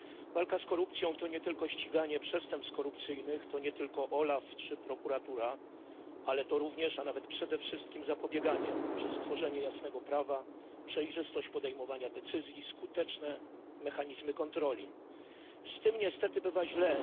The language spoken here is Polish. Walka z korupcją to nie tylko ściganie przestępstw korupcyjnych, to nie tylko OLAF czy prokuratura, ale to również, a nawet przede wszystkim, zapobieganie przez stworzenie jasnego prawa, przejrzystość podejmowania decyzji, skuteczne mechanizmy kontroli. Z tym niestety bywa źle.